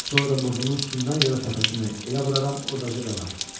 Sonra da burnunun üstündən ya da təpəsindən elə vuraram, orada da qalar.